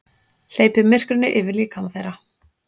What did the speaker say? Hleypir myrkrinu yfir líkama þeirra.